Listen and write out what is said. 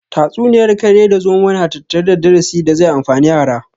Tatsuniyar kare da zomo na tattare da darasi da zai amfani yara